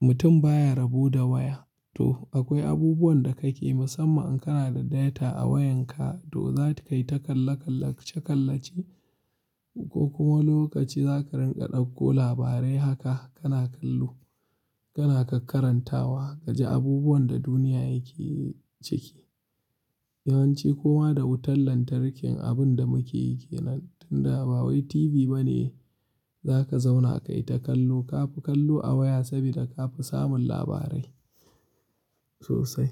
Mutum baya rabu da waya to akwai abubuwan da kake musamman kana da data a wayanka to za ki kai ta kalla-kalla, cekalla ce ko kuma lokaci za ka rinƙa ɗauko labarai haka kana kallo, kana ƙaƙkarantawa, kaji abubuwan da duniya yake ciki. Yawanci koma da wutar lantarki abun da muke yake nan tunda ba wai TV bane za ka zauna ka yi ta kallo. Kafi kallo a waya saboda ka fi samun labarai sosai.